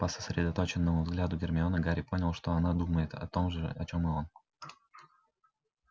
по сосредоточенному взгляду гермионы гарри понял что она думает о том же о чём и он